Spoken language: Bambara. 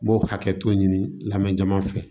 N b'o hakɛto ɲini lamɛ jama fɛ